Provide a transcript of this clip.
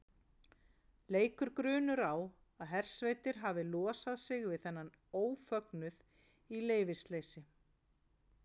leikur grunur á að hersveitir hafi losað sig við þennan ófögnuð í leyfisleysi